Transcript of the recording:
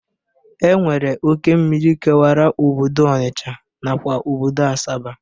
E nwere oke mmiri kewara obodo Ọnisha nakwa obodo Asaba.